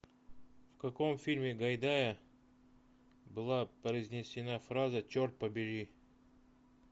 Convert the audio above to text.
в каком фильме гайдая была произнесена фраза черт побери